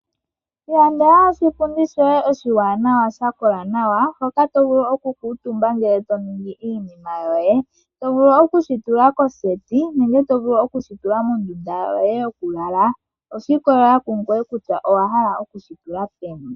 Ilandela oshipundi shoye oshiwanawa sha kola nawa hoka to vulu okukutumba ngele to ningi iinima yoye to vulu okushitula koseti nenge to vulu okushitula mondunda yoye yokulala oshiikolelela kungoye kutya owa hala okushitula peni.